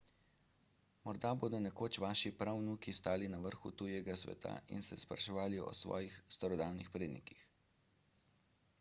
morda bodo nekoč vaši pravnuki stali na vrhu tujega sveta in se spraševali o svojih starodavnih prednikih